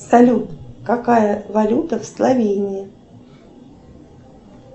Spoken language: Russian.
салют какая валюта в словении